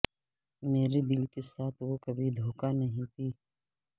میرے دل کے ساتھ وہ کبھی دھوکہ نہیں دی